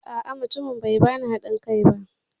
A'a, mutumin bai bani haɗin kai ba.